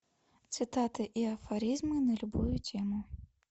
цитаты и афоризмы на любую тему